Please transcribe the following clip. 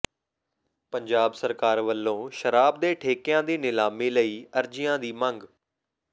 ਪੰਜਾਬ ਸਰਕਾਰ ਵਲੋਂ ਸ਼ਰਾਬ ਦੇ ਠੇਕਿਆਂ ਦੀ ਨਿਲਾਮੀ ਲਈ ਅਰਜ਼ੀਆਂ ਦੀ ਮੰਗ